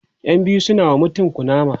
ƴan biyu suna wa mutum kunama